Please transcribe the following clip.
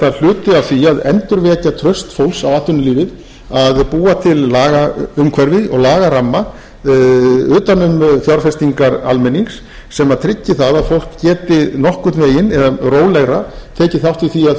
því að endurvekja traust fólks á atvinnulífið að búa til lagaumhverfi og lagaramma utan um fjárfestingar almennings sem tryggir það að fólk geti nokkurn veginn eða rólegra tekið þátt í því að